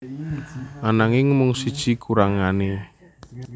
Ananging mung siji kurangané